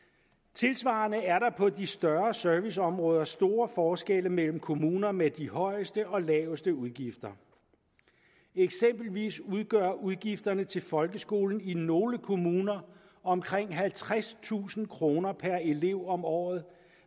tilsvarende er der på de større serviceområder store forskelle mellem kommunerne med de højeste og laveste udgifter eksempelvis udgør udgifterne til folkeskolen i nogle kommuner omkring halvtredstusind kroner per elev om året